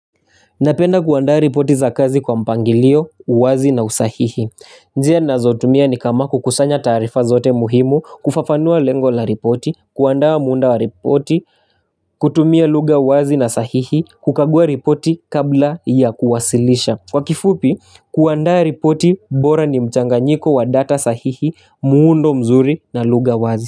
Napenda kuandaa ripoti za kazi kwa mpangilio, uwazi na usahihi. Njia ninazotumia ni kama kukusanya taarifa zote muhimu, kufafanua lengo la ripoti, kuandaa muunda wa ripoti, kutumia lugha uwazi na sahihi, kukagua ripoti kabla ya kuwasilisha. Kwa kifupi, kuandaa ripoti bora ni mchanganyiko wa data sahihi, muundo mzuri na lugha uwazi.